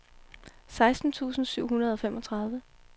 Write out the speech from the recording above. seksten tusind syv hundrede og femogtredive